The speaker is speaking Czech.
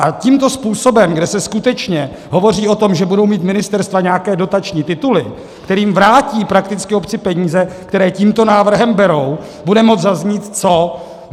A tímto způsobem, kde se skutečně hovoří o tom, že budou mít ministerstva nějaké dotační tituly, kterými vrátí prakticky obci peníze, které tímto návrhem berou, bude moci zaznít co?